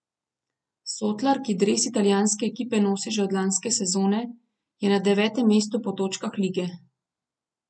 Sotlar, ki dres italijanske ekipe nosi že od lanske sezone, je na devetem mestu po točkah lige.